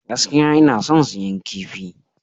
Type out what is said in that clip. Gaskiya, ina son siyan kifi.